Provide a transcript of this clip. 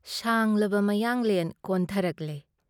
ꯁꯥꯡꯂꯕ ꯃꯌꯥꯡꯂꯦꯟ ꯀꯣꯟꯊꯔꯛꯂꯦ ꯫